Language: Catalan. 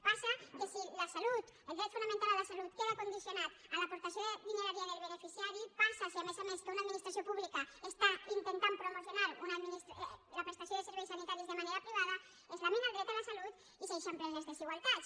passa que si la salut el dret fonamental a la salut queda condicionat a l’aportació de diner via el beneficiari passa que si a més a més una administració pública està intentant promocionar la prestació de serveis sanitaris de manera privada es lamina el dret a la salut i s’eixamplen les desigualtats